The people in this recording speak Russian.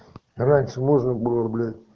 раньше можно было бля